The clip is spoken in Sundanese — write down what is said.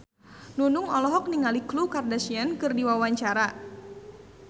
Nunung olohok ningali Khloe Kardashian keur diwawancara